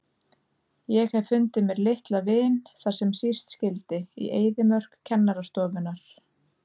Ég hef fundið mér litla vin þar sem síst skyldi, í eyðimörk kennarastofunnar.